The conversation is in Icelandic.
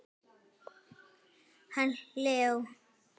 Hann Leó?